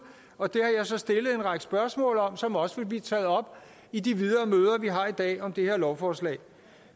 og det har jeg så stillet en række spørgsmål om som også vil blive taget op i de videre møder vi har i dag om det her lovforslag